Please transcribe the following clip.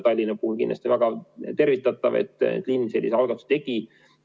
Tallinna puhul on kindlasti väga tervitatav, et linn sellise algatuse tegi.